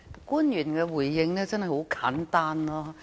官員的回應真的很簡單。